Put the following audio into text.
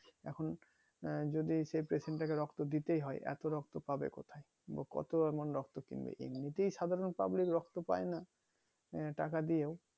এখন যদি সে patient তাকে রক্ত দিতেই হয় এত রক্ত পাবে কোথায় কত এমন রক্ত কিনবে এমনি তাই সাধারণ public রক্ত পাইনা আহ টাকা দিয়েও